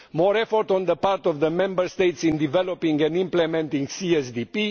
more effort on the part of the Member States in developing and implementing the CSDP